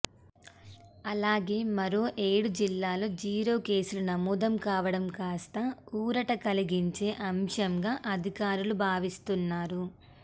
అలాగే మరో ఏడు జిల్లాల్లో జీరో కేసులు నమోదు కావడం కాస్త ఊరట కలిగించే అంశంగా అధికారులు భావిస్తున్నారు